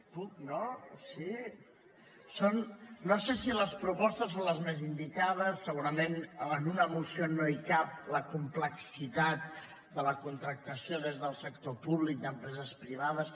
puc no sí no sé si les propostes són les més indicades segurament en una moció no hi cap la complexitat de la contractació des del sector públic d’empreses privades